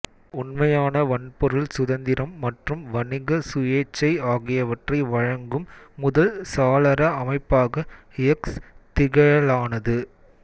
உண்மையான வன்பொருள் சுதந்திரம் மற்றும் வணிக சுயேச்சை ஆகியவற்றை வழங்கும் முதல் சாளர அமைப்பாக எக்ஸ் திகழலானது